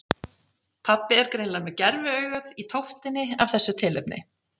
Pabbi er greinilega með gerviaugað í tóftinni af þessu tilefni.